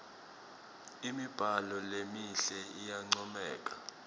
imibhalo lemihle iyancomeka